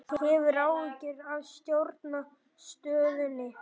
Hefur áhyggjur af stjórnarandstöðunni